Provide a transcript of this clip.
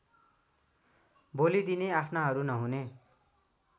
बोलिदिने आफ्नाहरू नहुने